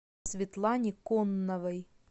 светлане конновой